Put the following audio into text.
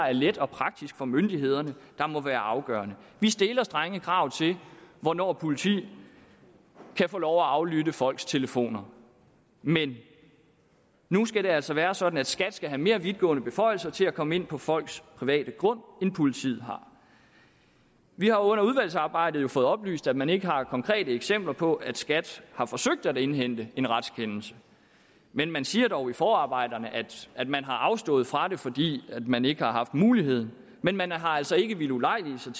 er let og praktisk for myndighederne der må være afgørende vi stiller strenge krav til hvornår politiet kan få lov at aflytte folks telefoner men nu skal det altså være sådan at skat skal have mere vidtgående beføjelser til at komme ind på folks private grund end politiet har vi har under udvalgsarbejdet fået oplyst at man ikke har konkrete eksempler på at skat har forsøgt at indhente en retskendelse men man siger dog i forarbejderne at man har afstået fra det fordi man ikke har haft muligheden men man har altså ikke villet ulejlige sig